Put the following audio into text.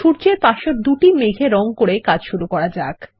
সূর্যের পাশের দুটি মেঘের রঙ করে কাজ শুরু করা যাক